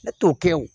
Ne t'o kɛ o